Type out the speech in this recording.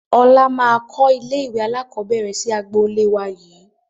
Ọlá máa kọ ilé ìwé alakọ̀bẹ́ẹ́rẹ̀ sì agboolé wá yii